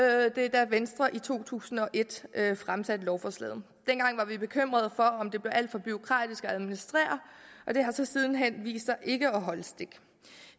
da venstre i to tusind og et fremsatte lovforslag om dengang var bekymret for om det blev alt for bureaukratisk at administrere men det har så siden hen vist sig ikke at holde stik